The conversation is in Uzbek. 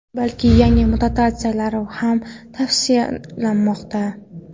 balki yangi mutatsiyalar ham tavsiflanmoqda.